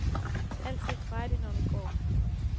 Altid frejdig når du går.